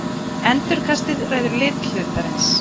endurkastið ræður lit hlutarins